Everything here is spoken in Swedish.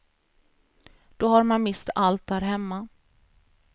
Då har man mist allt där hemma.